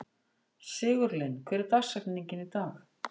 Sigurlinn, hver er dagsetningin í dag?